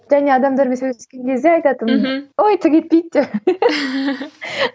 және адамдармен сөйлескен кезде айтатынмын мхм ой түк етпейді деп